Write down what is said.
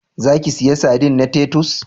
Za ki siya sadin na Titus?